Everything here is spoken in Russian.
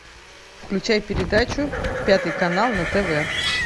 включай передачу пятый канал на тв